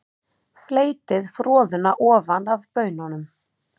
Fleytið froðuna ofan af baununum.